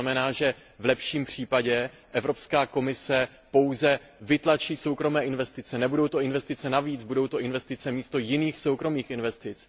To znamená, že v lepším případě Evropská komise pouze vytlačí soukromé investice, nebudou to investice navíc, budou to investice místo jiných soukromých investic.